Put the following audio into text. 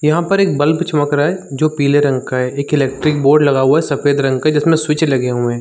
यहाँ पर एक बल्ब चमक रहा हैं जो पीले रंग का हैं एक इलेक्ट्रीक बोर्ड लगा हुआ हैं सफ़ेद रंग का जिसमे स्विचे लगे हुए हैं।